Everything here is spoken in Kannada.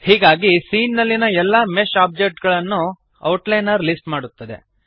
ಹೀಗಾಗಿ ಸೀನ್ ನಲ್ಲಿಯ ಎಲ್ಲ ಮೆಶ್ ಆಬ್ಜೆಕ್ಟ್ ಗಳನ್ನು ಔಟ್ಲೈನರ್ ಲಿಸ್ಟ್ ಮಾಡುತ್ತದೆ